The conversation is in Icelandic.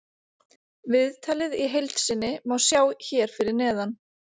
Viðtalið í heild sinni má sjá hér fyrir neðan.